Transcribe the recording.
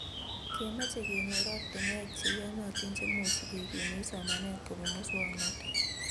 Kemeche kenyor ortinwek che iyonotin chekemuchi kekimite somanet kobun musoknotet